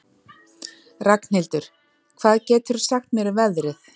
Ragnhildur, hvað geturðu sagt mér um veðrið?